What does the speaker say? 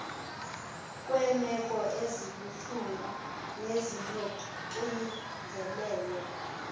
kweemeko ezibuhlungu nezinoxinzelelo